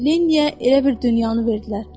Lenniyə elə bir dünyanı verdilər.